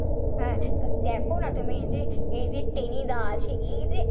হ্যাঁ দেখনা তুমি এই যে এই যে টেনি দা আছে এই যে,